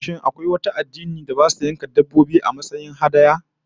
Shin akwai kuwa wani addinin da basu yanka dabbobi, a matsayin sadaukarwa ko hadaya?